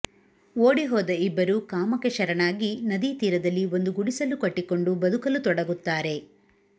ಓಡಿಹೋದ ಇಬ್ಬರೂ ಕಾಮಕ್ಕೆ ಶರಣಾಗಿ ನದಿತೀರದಲ್ಲಿ ಒಂದು ಗುಡಿಸಲು ಕಟ್ಟಿಕೊಂಡು ಬದುಕಲು ತೊಡಗುತ್ತಾರೆ